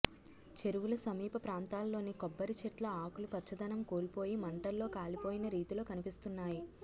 చెరువుల సమీప ప్రాంతాల్లోని కొబ్బరి చెట్ల ఆకులు పచ్చదనం కోల్పోయి మంటల్లో కాలిపోయిన రీతిలో కనిపిస్తున్నాయి